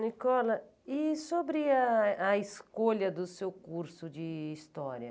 Nicola, e sobre a a escolha do seu curso de História?